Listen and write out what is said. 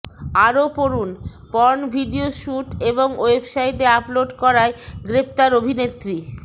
আরও পড়ুন porn video shoot এবং ওয়েবসাইটে আপলোড করায় গ্রেফতার অভিনেত্রী